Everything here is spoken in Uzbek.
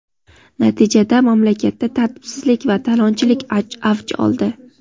Natijada mamlakatda tartibsizlik va talonchilik avj oldi.